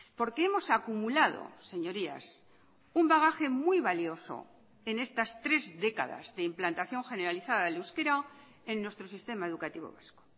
porque hemos acumulado señorías un bagaje muy valioso en estas tres décadas de implantación generalizada del euskera en nuestro sistema educativo vasco